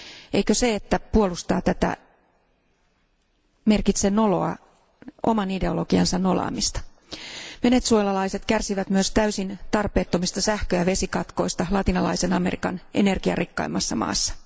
Eikö se, että puolustaa tätä, merkitse noloa oman ideologiansa nolaamista? Venezuelalaiset kärsivät myös täysin tarpeettomista sähkö ja vesikatkoista Latinalaisen Amerikan energiarikkaimmassa maassa.